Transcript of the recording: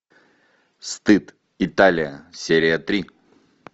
стыд италия серия три